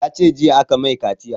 Ya ce jiya aka mai kaciya